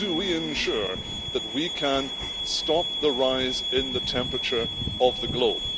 How do we ensure that we can stop the rise in the temperature of the globe?